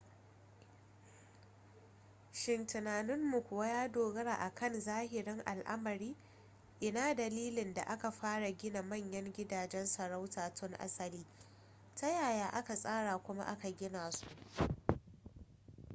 shin tunaninmu kuwa ya dogara a kan zahirin al'amari ina dalilin da aka fara gina manyan gudajen sarauta tun asali ta yaya aka tsara kuma aka gina su